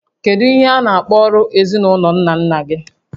Kedu ihe a na-akpọ ọrụ ezinaụlọ nna nna gị?